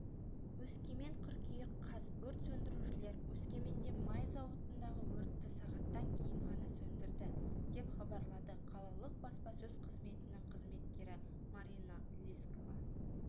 өскемен қыркүйек қаз өрт сөндірушілер өскеменде май зауытындағы өртті сағаттан кейін ғана сөндірді деп хабарлады қалалық баспасөз қзыметінің қызметкерімарина лискова